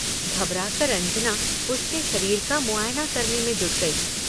घबराकर अंजना उसके शरीर का मुआयना करने में जुट गई।